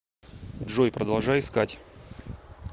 джой продолжай искать